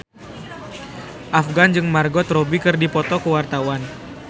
Afgan jeung Margot Robbie keur dipoto ku wartawan